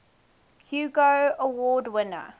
hugo award winner